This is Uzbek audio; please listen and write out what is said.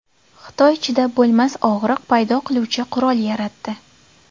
Xitoy chidab bo‘lmas og‘riq paydo qiluvchi qurol yaratdi.